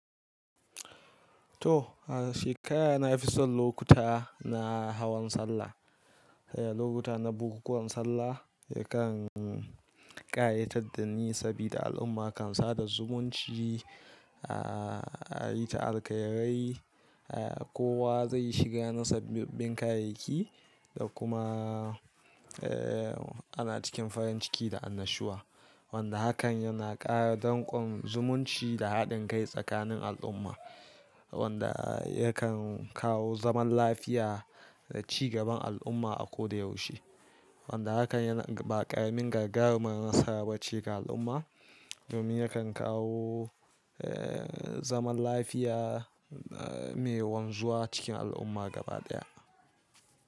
To, a shekara na fi son lokuta na hawan sallah. Lokuta na bukukuwan sallah yakan ƙayatar da ni saboda al'umma kan sada zumunci a yi ta alƙairai, kowa zai yi shiga na sabbin kayayyaki da kuma ana cikin farin ciki da annashuwa. Wanda hakan yana ƙara danƙon zumunci da haɗin kai tsakanin al'umma wanda yakan kawo zaman lafiya da cigaban al'umma a ko da yaushe. Wanda hakan yana ba ƙarmin gagarumar nasara bace ga al'umma domin yakan kawo zaman lafiya mai wanzuwa cikin al'umma gaba ɗaya.